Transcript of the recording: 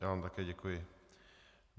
Já vám také děkuji.